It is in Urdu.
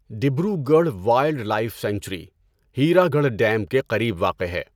ڈیبری گڑھ wildlife sanctuary Hirakud dam کے قریب واقع ہے۔